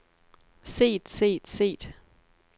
set set set